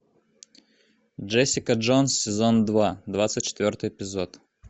джессика джонс сезон два двадцать четвертый эпизод